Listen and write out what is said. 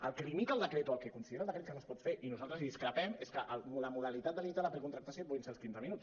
el que limita el decret o el que considera el decret que no es pot fer i nosaltres en discrepem és que la modalitat de limitar la precontractació puguin ser els quinze minuts